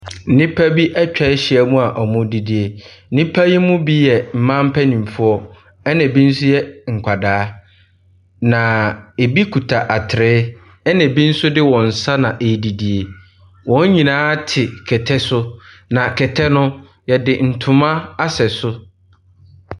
Nnipa bi atwa ahyia mu a wɔredidie. Nnipa yi mu bi yɛ mmaa mpanimfoɔ, ɛnna bi nso yɛ nkwadaa, na ebi kuta atere, ɛnna bi nso de wɔn nsa na ɛredidie. Wɔn nyinaa te kɛtɛ so, na kɛtɛ no, wɔde ntoma asɛ so.